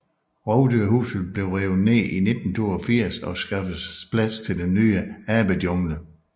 Rovdyrhuset blev revet ned i 1982 og skaffes plads til den ny Abejungle